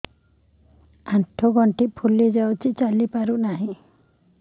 ଆଂଠୁ ଗଂଠି ଫୁଲି ଯାଉଛି ଚାଲି ପାରୁ ନାହିଁ